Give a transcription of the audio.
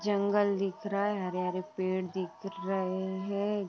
जंगल दिख रहा है| हरे हरे पेड़ दिख रहे है |